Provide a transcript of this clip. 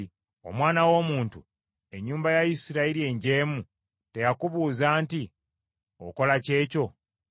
“Omwana w’omuntu, ennyumba ya Isirayiri enjeemu teyakubuuza nti, ‘Okola ki ekyo?’